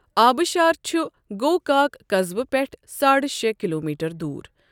آبشار چھ گوکاک قصبہٕ پٮ۪ٹھٕ ساڑِ شےٚ کِلومیٖٹَر دوٗر ۔